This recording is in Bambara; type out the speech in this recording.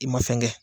I ma fɛn kɛ